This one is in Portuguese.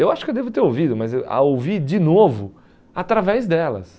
Eu acho que eu devo ter ouvido, mas eu a ouvir de novo através delas.